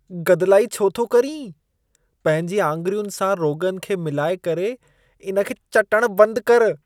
गदिलाई छो थो करी? पंहिंजी आङिरियुनि सां रोग़न खे मिलाए करे इन खे चटण बंद कर।